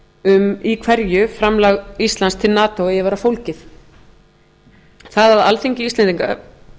um í hverju framlag íslands til nato eigi að vera fólgið það að